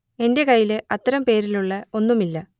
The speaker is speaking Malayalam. എന്റെ കയ്യിൽ അത്തരം പേരിലുള്ള ഒന്നും ഇല്ല